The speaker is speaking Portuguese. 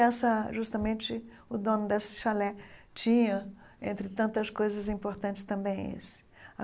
E essa justamente o dono desse chalé tinha, entre tantas coisas importantes, também esse.